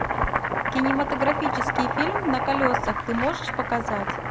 кинематографический фильм на колесах ты можешь показать